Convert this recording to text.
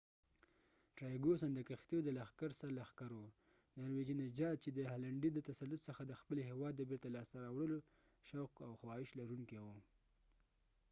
ټرایګواسن trygvassonد کښتیو د لښکر سر لښکر و ، نارويژی norvegian نژاد چې د هالنډی danish د تسلط څخه د خپل هیواد د بیرته لاس ته راوړلو شوق او خواهش لرونکې و